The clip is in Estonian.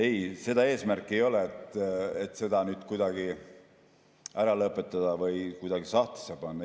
Ei, seda eesmärki ei ole, et seda kuidagi ära lõpetada või kuidagi sahtlisse panna.